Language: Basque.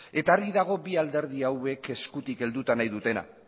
eta argi dago bi alderdi hauek eskutik helduta nahi dutela